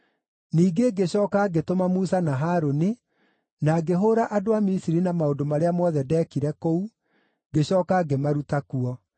“ ‘Ningĩ ngĩcooka ngĩtũma Musa na Harũni, na ngĩhũũra andũ a Misiri na maũndũ marĩa mothe ndeekire kũu, ngĩcooka ngĩmaruta kuo.